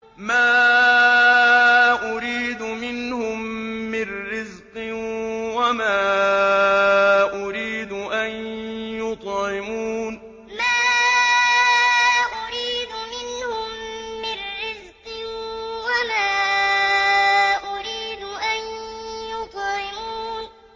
مَا أُرِيدُ مِنْهُم مِّن رِّزْقٍ وَمَا أُرِيدُ أَن يُطْعِمُونِ مَا أُرِيدُ مِنْهُم مِّن رِّزْقٍ وَمَا أُرِيدُ أَن يُطْعِمُونِ